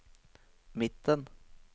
midten